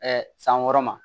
san wɔɔrɔ ma